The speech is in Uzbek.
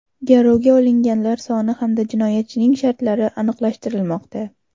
Garovga olinganlar soni hamda jinoyatchining shartlari aniqlashtirilmoqda.